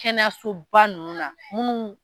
Kɛnɛyasoba nunnu na munnu.